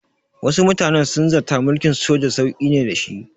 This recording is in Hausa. Wasu mutanen sun zata mulkin soja sauƙi ne da shi.